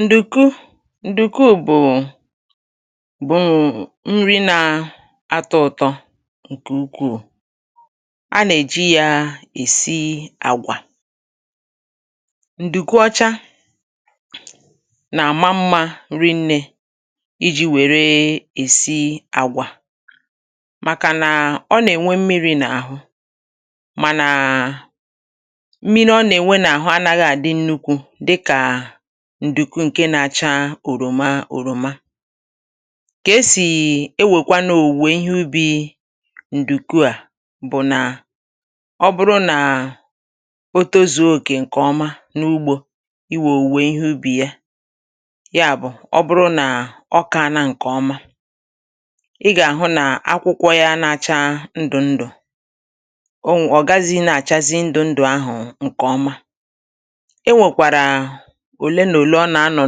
Ndùku ǹdùku bụ̀ bụ̀ nri nà atọ -ụ̀tọ ǹkè ukwuù. A nà-èji yȧ èsi àgwà. Ndùku ọcha nà-àma mmȧ riine iji̇ wère èsi àgwà, màkànà ọ nà-ènwe mmiri̇ n’àhụ mànà mmiri ọ na-enwe n'ahụ anaghu adị nnukwu dịka ǹdùku ǹke na-acha òròma òròma. Kà-esì ewèkwanụ̀ òwùwè ihe ubi ǹdùku à bụ̀ nà ọ bụrụ nà o tozuo òkè ǹkèọma n’ugbȯ iwè òwùwè ihe ubì ya, ya bụ̀, ọ bụrụ nà ọka a na ǹkè ọma, ị gà-àhụ nà akwụkwọ ya n’acha ndụ̀ ndụ̀ owe ọ̀ gazighi na-achazi ndụ̀ ndụ̀ ahụ̀ ǹkè ọma. E nwekwara òle nà òle ọ nà-anọ̀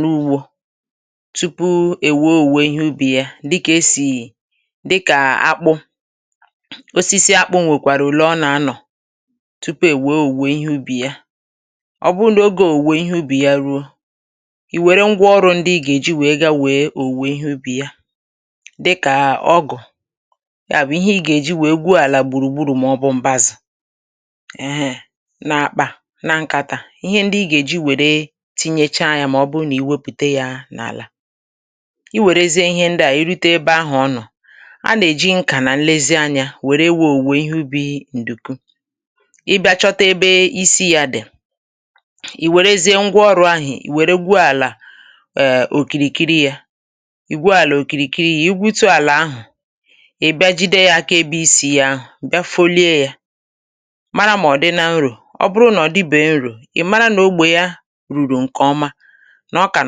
n’ugbȯ tupu èwee òwuwe ihe ubì ya dịkà esì dịkà akpụ osisi akpụ̇ nwèkwàrà òle ọ nà-anọ̀ tupu èwee òwè ihe ubì ya, ọ bụrụ n' oge òwè ihe ubì ya ruo, ì wère ngwa ọrụ̇ ndi i gà-èji wèe ga wee òwè ihe ubì ya dịkà Ọgụ̀, ya bụ̀ ihe i gà-èji wèe gwuo àlà gbùrùgbùrù mọbụ mbazì eee na-akpà na nkàtà, ihe ndi i gà-èji wère tinyecha ya mà ọ bụ nà ì wepùte ya n’àlà. Ị wèrezie ihe ndị à, ì rute ebe ahù ọ nọ̀, a nà-èji nkà nà nlezi anyȧ wère wee òwùwe ihe ubi̇ ǹdùku, ị bịȧ chọta ebe isi yȧ dì, ì wèrezie ngwa ọrụ̇ ahù ì wère gwùo àlà òkìrìkiri yȧ, ì gwùo àlà òkìrìkiri ya, ì gwùtù àlà ahù, ị bịa jide yȧ aka ebe isi̇ yȧ ahù, bịa folie yȧ mara mà ọ̀ dị na nrò ọ bụrụ na-ọ̀dịbèghi nrò, i mara nà ogbè ya ruru nke ọma nà ọkà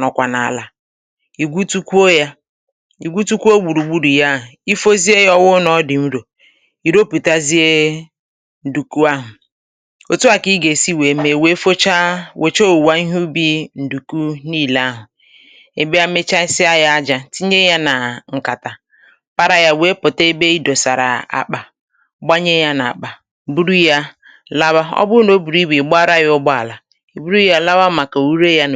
nọkwà n’àlà, ì gwutukwo yȧ, ì gwutukwo gbùrùgburù ya ahụ̀, ifozie ya ọwụ̇ nà ọ dị̀ nrò, i ropùtazie ǹdùku ahụ̀, òtù ahu kà ị gà èsi wee mee wèe fọcha wòcha owùwa ihe ubi̇ ǹdùku nile ahụ̀, ị bia mechasịa ya ajȧ tinye ya nà ǹkàtà para yȧ wèe pụta ebe ị dòsàrà akpà, gbanye ya n’àkpà, buru yȧ lawa, ọ bụ nà o bùrù ibu ị gbara ya ụgbọ àlà, bụrụ lawa maka ure ya